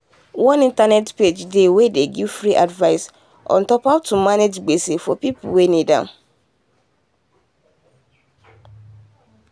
one internet page dey wey dey give free advice ontop how to manage gbese for people wey need am.